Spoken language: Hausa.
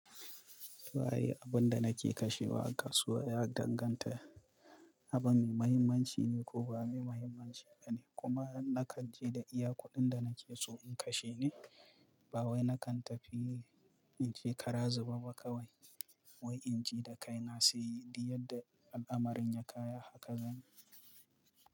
Suwaye abun da nake kashewa a kasuwa ya danganta, abin mai muhimmanci ne ko ba mai muhimmanci bane, kuma nakan je da iya kuɗin da nake so in kashe ne. Ba wai nakan tafi, in je kara zube ba kawai. Wai in ji da kai na sai, duk yadda al'amarin ya kaya haka zan yi.